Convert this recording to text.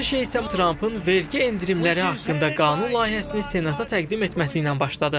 Hər şey isə Trampın vergi endirimləri haqqında qanun layihəsini senata təqdim etməsiylə başladı.